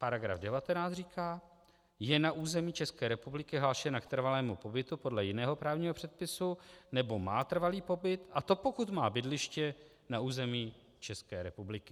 Paragraf 19 říká "je na území České republiky hlášena k trvalému pobytu podle jiného právního předpisu nebo má trvalý pobyt, a to pokud má bydliště na území České republiky".